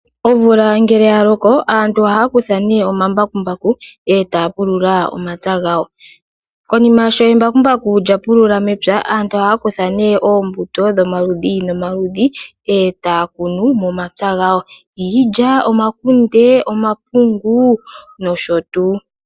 Omvula ngele ya loko aantu ohaya kutha omambakumbaku e taya pulula omapya gawo. Konima sho embakumbaku lya pulula mepya, aantu ohaya kutha nduno oombuto dhomaludhi nomaludhi e taya kunu momapya gawo; iilya, omakunde, omapungu nosho tuu.